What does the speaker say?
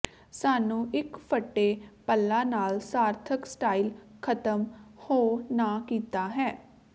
ਸਾਨੂੰ ਇੱਕ ਫਟੇ ਪੱਲਾ ਨਾਲ ਸਾਰਥਕ ਸਟਾਈਲ ਖਤਮ ਹੋ ਨਾ ਕੀਤਾ ਹੈ